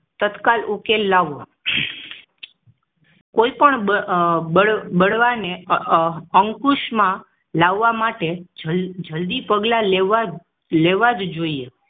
તત્કાલ ઉકેલ લાવો કોઈ પણ બળવા બળવાને અંકુશ માં લાવવા માટે જલદી જલદી પગલા લેવા લેવા જોઈએ